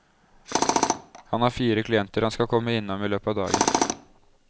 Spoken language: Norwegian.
Han har fire klienter han skal innom i løpet av dagen.